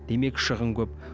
демек шығын көп